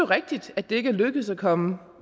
rigtigt at det ikke er lykkedes at komme